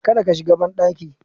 Kada ka shiga banɗaki